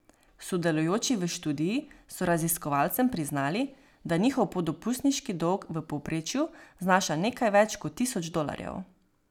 Sodelujoči v študiji so raziskovalcem priznali, da njihov podopustniški dolg v povprečju znaša nekaj več kot tisoč dolarjev.